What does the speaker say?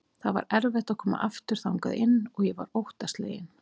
Það var erfitt að koma aftur þangað inn og ég var óttaslegin.